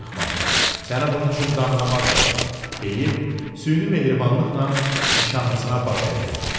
Qorxma, səni bunun üçün dannamazlar, deyib süni mehribanlıqla nişanlısına baş əydi.